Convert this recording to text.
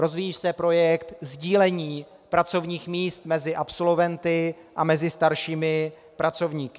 Rozvíjí se projekt sdílení pracovních míst mezi absolventy a mezi staršími pracovníky.